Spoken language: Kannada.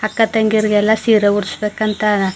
ಅಕ್ಕ ತಂಗಿಯರಿಗೆಲ್ಲಾ ಸೀರೆ ಉಡ್ಸಬೇಕು ಅಂತ.